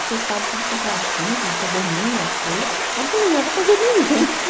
Você sabe tudo quanto é assunto, você domina as coisas, mas eu não dominava coisa nenhuma.